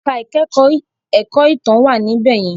Ẹ̀ka ìkẹ́kọ̀ọ́ ẹ̀kọ́ ìtàn wà níbẹ̀ yẹn.